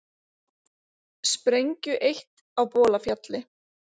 Sprengju eytt á Bolafjalli